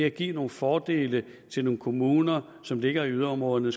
at give nogle fordele til nogle kommuner som ligger i yderområderne